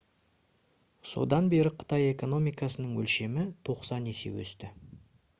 содан бері қытай экономикасының өлшемі 90 есе өсті